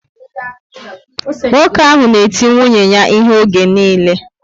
Nwoke ahụ na eti nwunye ya ihe oge niile